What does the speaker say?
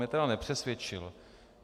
Mě tedy nepřesvědčil.